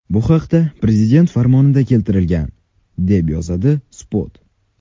Bu haqda Prezident farmonida keltirilgan , deb yozadi Spot.